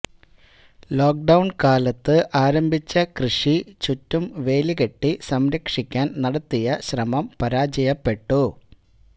lockdown കാലത്ത് ആരംഭിച്ച കൃഷി ചുറ്റും വേലി കെട്ടി സംരക്ഷിക്കാൻ നടത്തിയ ശ്രമം പരാജയപ്പെട്ടു